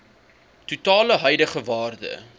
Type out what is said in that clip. totale huidige waarde